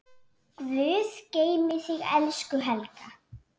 Guð geymi þig, elsku Helga.